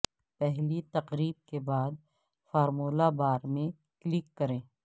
پہلی تقریب کے بعد فارمولہ بار میں کلک کریں